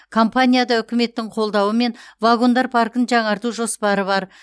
компанияда үкіметтің қолдауымен вагондар паркін жаңарту жоспары бар